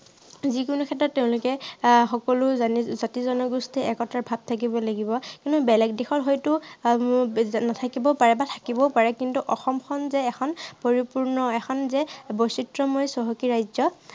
যি কোনো ক্ষেত্ৰত তেওঁলোকে আহ সকলো জাতি -জনগোষ্ঠী একতাৰ ভাৱ থাকিব লাগিব। কিন্তু বেলেগ দেশত হয়তো উম নাথাকিবও পাৰে বা থাকিবও পাৰে। কিন্তু অসমখন যে এখন পৰিপূৰ্ণ এখন যে বৈচিত্ৰ্য়ময় চহকী ৰাজ্য়